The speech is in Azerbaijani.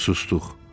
Sustuq.